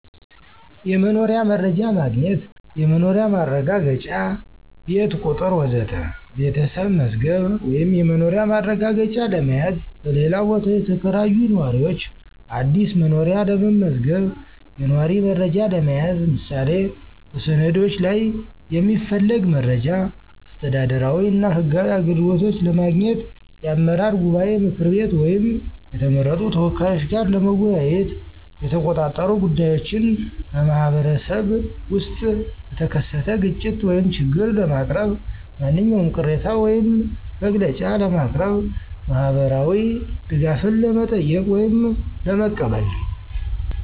1. የመኖሪያ መረጃ ማግኘት (የመኖሪያ ማረጋገጫ፣ ቤት ቁጥር ወዘተ) ቤተሰብ መዝገብ ወይም የመኖሪያ ማረጋገጫ ለመያዝ፣ በሌላ ቦታ የተከራዩ ነዋሪዎች አዲስ መኖሪያ ለመመዝገብ፣ የነዋሪ መረጃ ለመያዝ (ምሳሌ በሰነዶች ላይ የሚፈለግ መረጃ)። 2. አስተዳደራዊ እና ህጋዊ አገልግሎቶች ለማግኘት የአመራር ጉባኤ ምክር ወይም የተመረጡ ተወካዮች ጋር ለመወያየት፣ የተቆጣጠሩ ጉዳዮችን (በማኅበረሰብ ውስጥ በተከሰተ ግጭት ወይም ችግር) ለማቅረብ፣ ማንኛውም ቅሬታ ወይም መግለጫ ለማቅረብ። 3. ማህበራዊ ድጋፍን ለመጠየቅ ወይም ለመቀበል